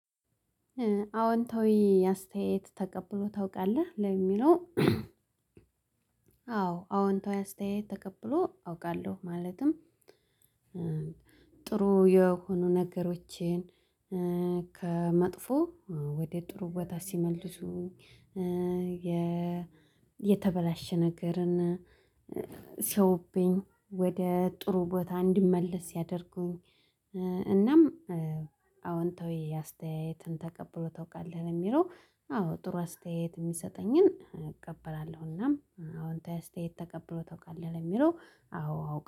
አዎንታዊ አስተያየት ተቀብለህ ታውቃለህ ለሚለው አዎ አዎንታዊ አስተያየት ተቀብሎ አውቃለሁ ማለትም ጥሩ የሆኑ ነገሮችን ከመጥፎ ወደ ጥሩ ቦታ ሲመልሱኝ የ የተበላሸ ነገርን ሲያውብኝ ወደ ጥሩ ቦታ እንዲመለስ ሲያደርጉኝ እናም አዎንታዊ አስተያየትን ተቀብሎ ታውቃለህ የሚለው አዎ ጥሩ አስተያየት የሚሰጠኝን እቀበላለሁና አዎንታዊ አስተያየት ታውቃለህ ለሚለው አዎ አውቃለሁ